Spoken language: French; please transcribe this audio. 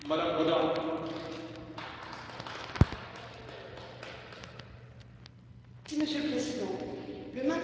Monsieur le Président, le maintien de la dérogation accordée à la pêche électrique dans ce règlement fait l'objet d'une vaste polémique, et à raison.